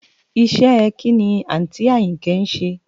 Iṣẹ́ ẹ kín ni àǹtí Àyìnkẹ́ ń ṣe?